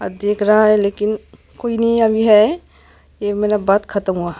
अ देख रहा है लेकिन कोई नहीं अभी है ये मेरा बात खतम हुआ--